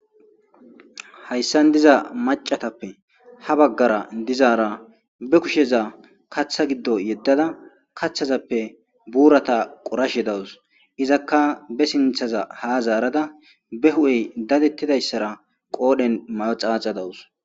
hayssan diza macatappe ha baggara dizaara be kusheza kaththa giddo yeddada kaththazappe buurata qorashe dawus izakka be sinthaza ha zaarada be hu7ey dadettidayssara qoodhen may7o xaaxa dawus